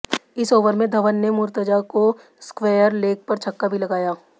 इस ओवर में धवन ने मुर्तजा को स्क्वेयर लेग पर छक्का भी लगाया